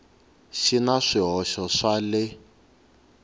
xi na swihoxo swa le